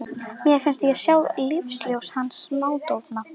Mér fannst ég sjá lífsljós hans smádofna.